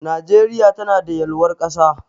Najeriya tanada yalwar ƙasa.